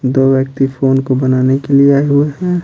दो व्यक्ति फोन को बनाने के लिए आये हुए है।